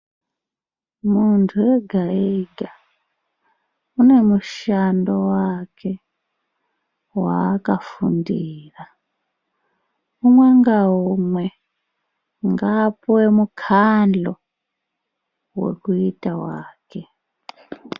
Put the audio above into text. Muntu ega ega une mushando wake waakafundira. Umwe ngaumwe ngaapuwe mukandlo wekuita wake.